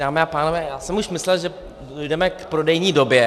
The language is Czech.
Dámy a pánové, já jsem už myslel, že dojdeme k prodejní době.